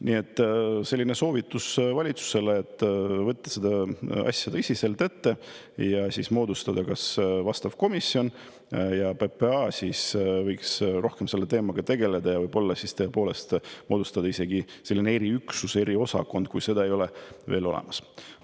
Nii et selline soovitus valitsusele: võtta see asi tõsiselt ette ja moodustada vastav komisjon ja PPA võiks siis rohkem selle teemaga tegeleda ja võib-olla tõepoolest moodustada isegi sellise eriüksuse, eriosakonna, kui seda veel olemas ei ole.